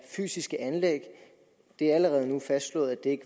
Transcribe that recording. fysiske anlæg det er allerede nu fastslået at det